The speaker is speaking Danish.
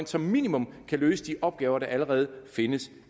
som minimum kan løse de opgaver der allerede findes